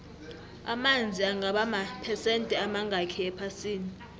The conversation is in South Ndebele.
amanzi angaba maphesende amangakhi ephasini